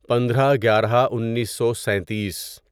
پندرہ گیارہ انیسو سینتیس